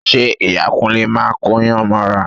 Ṣe Ìyá Kúnlé máa kóyàn mọ́ra?